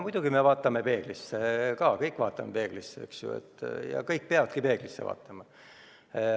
Muidugi me vaatame peeglisse, me kõik vaatame peeglisse ja kõik peavadki peeglisse vaatama.